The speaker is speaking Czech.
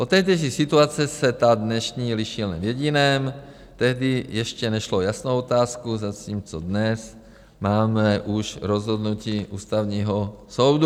Od tehdejší situace se ta dnešní liší jen v jediném: tehdy ještě nešlo o jasnou otázku, zatímco dnes máme už rozhodnutí Ústavního soudu.